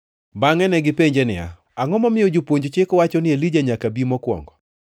Bangʼe negipenje niya, “Angʼo momiyo jopuonj chik wacho ni Elija nyaka bi mokwongo?”